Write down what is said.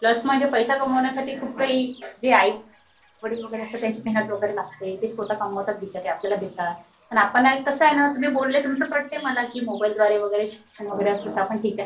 Plus म्हणजे पैसा कमवण्यासाठी खुप काही जे आईवडील असतात त्यांची मेहनत वगैरे लागते. ते स्वतः कमवतात बिचारे. ते आपल्याला देतात. आणि आपण कसं आहे तुम्ही बोलले ते पटतंय मला कि मोबाईल द्वारे वगैरे शिक्षण वगैरे ठीक आहे.